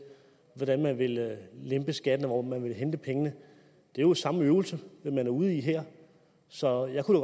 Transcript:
hvordan man vil lempe skatten og hvor man vil hente pengene det er jo samme øvelse man er ude i her så jeg kunne